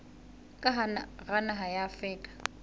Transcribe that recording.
ka hara naha ya afrika